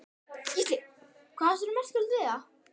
Gísli: Hvað er svona merkilegt við það?